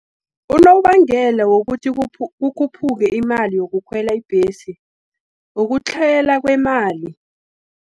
Unobangela wokuthi kukhuphuke imali yokukhwela ibhesi, ukutlhayela kwemali.